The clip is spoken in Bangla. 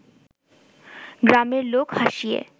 গ্রামের লোক হাসিয়ে